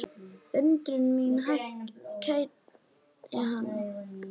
Undrun mín kætti hana.